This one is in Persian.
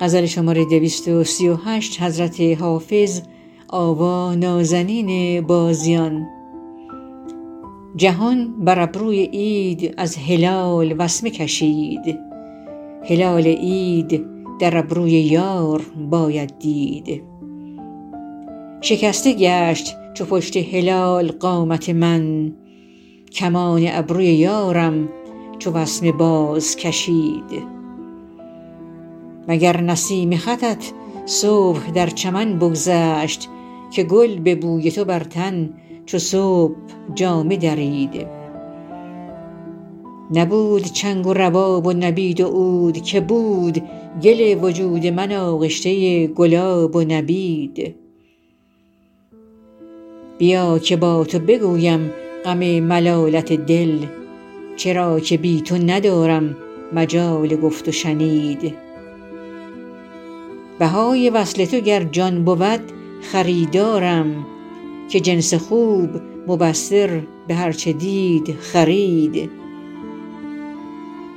جهان بر ابروی عید از هلال وسمه کشید هلال عید در ابروی یار باید دید شکسته گشت چو پشت هلال قامت من کمان ابروی یارم چو وسمه بازکشید مگر نسیم خطت صبح در چمن بگذشت که گل به بوی تو بر تن چو صبح جامه درید نبود چنگ و رباب و نبید و عود که بود گل وجود من آغشته گلاب و نبید بیا که با تو بگویم غم ملالت دل چرا که بی تو ندارم مجال گفت و شنید بهای وصل تو گر جان بود خریدارم که جنس خوب مبصر به هر چه دید خرید